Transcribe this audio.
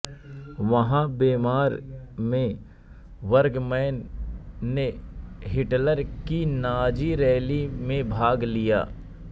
वहां वेंमार में बर्गमैन ने हिटलर की नाजी रैली में भाग लिया